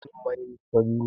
Launin mainis fari ne